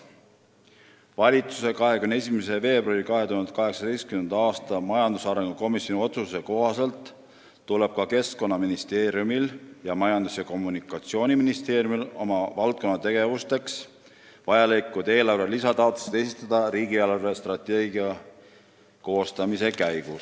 Valitsuse 21. veebruari 2018. aasta majandusarengu komisjoni otsuse kohaselt tuleb ka Keskkonnaministeeriumil ning Majandus- ja Kommunikatsiooniministeeriumil oma valdkonnategevusteks vajalikud lisataotlused esitada riigi eelarvestrateegia koostamise käigus.